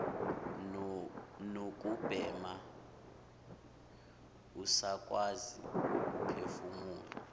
nokubhema usakwazi ukuphefumula